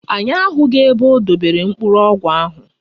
Anyị ahụghị ebe o dobere mkpụrụ ọgwụ ahụ.